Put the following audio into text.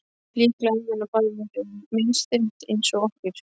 Líklega hefði honum bara verið misþyrmt eins og okkur.